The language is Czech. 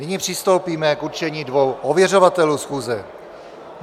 Nyní přistoupíme k určení dvou ověřovatelů schůze.